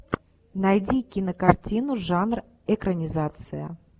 найди кинокартину жанр экранизация